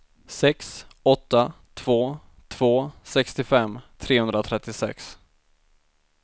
sex åtta två två sextiofem trehundratrettiosex